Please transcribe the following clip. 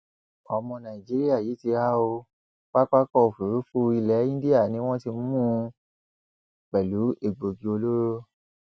ọmọ nàìjíríà yìí ti há ó pápákọòfurufú ilẹ indian ni wọn ti mú mú un pẹlú egbòogi olóró